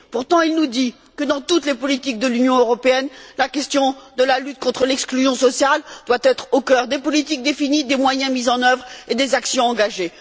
Pourtant, il nous dit que, dans toutes les politiques de l'Union européenne, la question de la lutte contre l'exclusion sociale doit être au cœur des politiques définies, des moyens mis en œuvre et des actions engagées.